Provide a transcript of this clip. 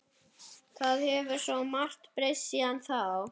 Það hefur svo margt breyst síðan þá.